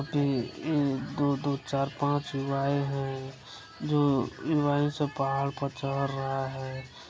ई दु दु चार पाँच गो गाये है जो से पहाड़ पर चहर रहे है।